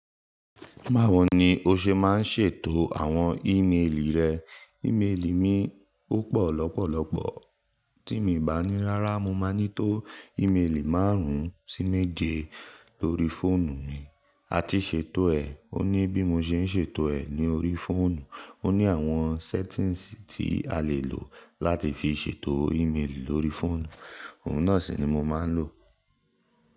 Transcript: Báwo ni o ṣe máa ń ṣètò àwọn ìméélì rẹ? Ìméélì mi o pọ̀ lọ́pọ̀lọpọ̀, tí mo bá ní rárá mo máa ní tó ìméélì márùn-ún sí mẹ́je lorí fóònù mi, a ti ṣètò ẹ̀, ó ní bí mo ṣe ń ṣètò ẹ̀ ní orí fóònù, ó ní àwọn settings tí a lè lò láti fi ṣètò ìméélì lorí fóònù, òun náà si ni mo máa ń lò.